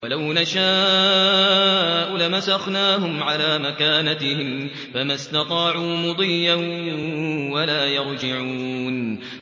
وَلَوْ نَشَاءُ لَمَسَخْنَاهُمْ عَلَىٰ مَكَانَتِهِمْ فَمَا اسْتَطَاعُوا مُضِيًّا وَلَا يَرْجِعُونَ